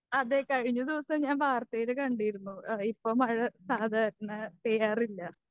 അതേ കഴിഞ്ഞ ദിവസം ഞാൻ വാർത്തയില് കണ്ടിരുന്നു. ഏഹ് ഇപ്പം മഴ സാധാരണ പെയ്യാറില്ല.